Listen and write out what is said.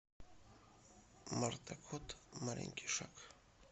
марта кот маленький шаг